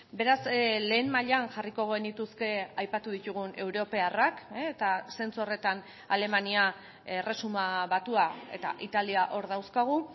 beraz lehen mailan jarriko genituzke aipatu ditugun europarrak eta zentzu horretan alemania erresuma batua eta italia hor dauzkagu